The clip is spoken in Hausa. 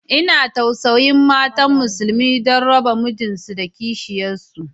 Ina tausayin matan musulmi, don raba mijinsu da kishiyansu